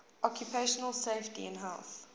occupational safety and health